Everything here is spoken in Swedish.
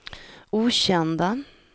okända